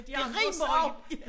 Det rimer også